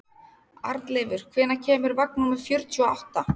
Arnleifur, hvenær kemur vagn númer fjörutíu og átta?